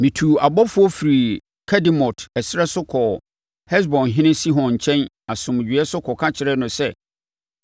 Metuu abɔfoɔ firii Kedemot ɛserɛ so kɔɔ Hesbonhene Sihon nkyɛn asomdwoeɛ so kɔka kyerɛɛ no sɛ,